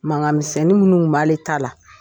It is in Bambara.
Mankan misɛnnin minnu kun b'a le ta la.